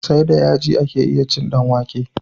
Sai da yaji ake iya cin dan wake